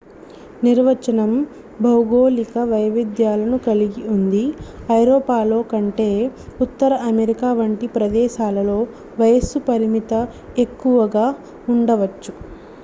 నిర్వచనం భౌగోళిక వైవిధ్యాలను కలిగి ఉంది ఐరోపాలో కంటే ఉత్తర అమెరికా వంటి ప్రదేశాలలో వయస్సు పరిమితి తక్కువగా ఉండవచ్చు